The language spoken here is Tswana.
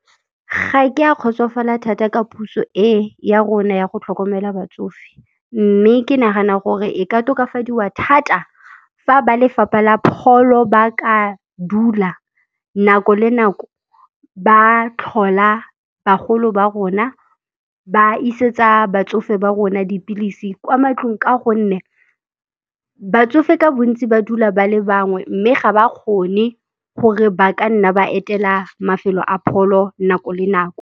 Ga ke a kgotsofala thata ka puso e ya rona ya go tlhokomela batsofe, mme ke nagana gore e ka tokafadiwa thata fa ba lefapha la pholo ba ka dula nako le nako ba tlhola bagolo ba rona, ba isetsa batsofe ba rona dipilisi kwa matlong ka gonne batsofe ka bontsi ba dula ba le bangwe, mme ga ba kgone gore ba ka nna ba etela mafelo a pholo nako le nako.